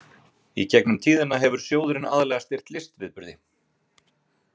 Í gegnum tíðina hefur sjóðurinn aðallega styrkt listviðburði.